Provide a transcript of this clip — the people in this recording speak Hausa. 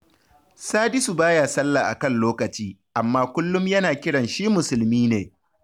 Sadisu ba ya sallah a kan lokaci, amma kullum yana kiran shi musulmi ne